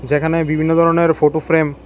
যেখানে বিভিন্ন ধরনের ফোটো ফ্রেম ।